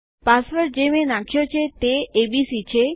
password જે મેં નાખ્યો છે તે એબીસી છે